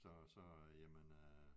Så så jamen øh